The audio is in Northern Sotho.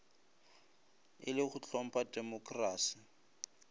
e le go hlompha temokrasi